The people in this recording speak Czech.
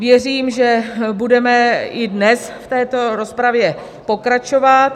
Věřím, že budeme i dnes v této rozpravě pokračovat.